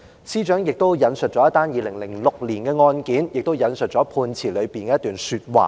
司長亦引述了一宗2006年的案件，並引述了判詞中的一段說話。